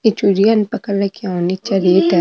ई चुरिया ने पकड़ रखयो और निचे रेत है।